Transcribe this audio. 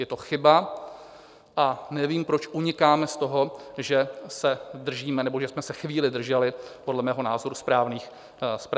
Je to chyba a nevím, proč unikáme z toho, že se držíme - nebo že jsme se chvíli drželi - podle mého názoru správných čísel.